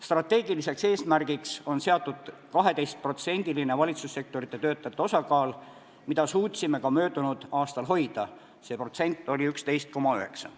Strateegiliseks eesmärgiks on seatud 12%-line valitsussektori töötajate osakaal, mida suutsime ka möödunud aastal hoida: see protsent oli 11,9.